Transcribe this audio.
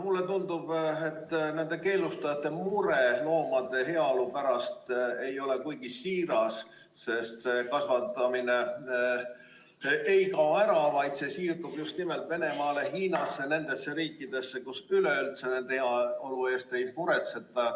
Mulle tundub, et nende keelustajate mure loomade heaolu pärast ei ole kuigi siiras, sest see kasvatamine ei kao ära, vaid siirdub just nimelt Venemaale, Hiinasse ja nendesse riikidesse, kus üleüldse nende loomade heaolu eest ei muretseta.